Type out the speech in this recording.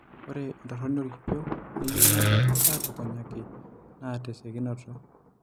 Ore entoroni oorkipieu neyieu nebaki aatukunyaki naa tesiokinoto.